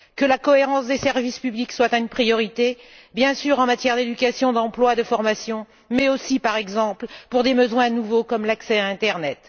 Que la cohérence des services publics soit une priorité, bien sûr en matière d'éducation, d'emploi et de formation mais aussi, par exemple, pour des besoins nouveaux, comme l'accès à internet.